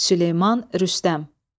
Süleyman Rüstəm.